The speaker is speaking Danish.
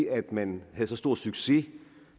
at man havde så stor succes